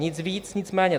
Nic víc, nic méně.